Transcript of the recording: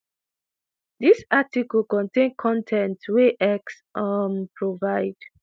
dis article contain con ten t wey x um provide.